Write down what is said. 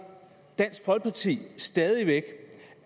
dansk folkeparti så stadig væk